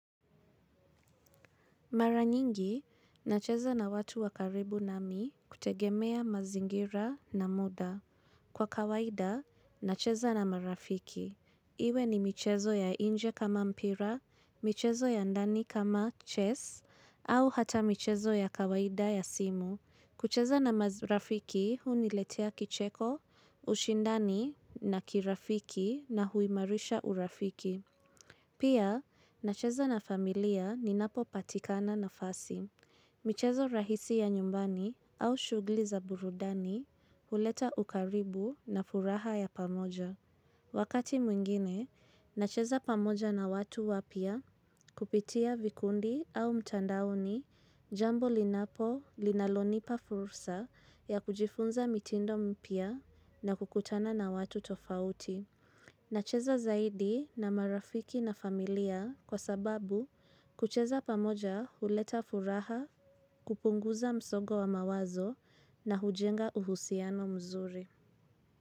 Mara nyingi, nacheza na watu wa karibu nami kutegemea mazingira na muda. Kwa kawaida, nacheza na marafiki. Iwe ni michezo ya inje kama mpira, michezo ya ndani kama chess, au hata michezo ya kawaida ya simu. Kucheza na maz marafiki, huniletea kicheko, ushindani na kirafiki na huimarisha urafiki. Pia, nacheza na familia ninapo patikana nafasi, michezo rahisi ya nyumbani au shughuli za burudani, huleta ukaribu na furaha ya pamoja. Wakati mwingine, nacheza pamoja na watu wapya kupitia vikundi au mtandaoni, jambo linapo linalonipa fursa ya kujifunza mitindo mpya na kukutana na watu tofauti. Na cheza zaidi na marafiki na familia kwa sababu kucheza pamoja huleta furaha kupunguza msongo wa mawazo na hujenga uhusiano mzuri.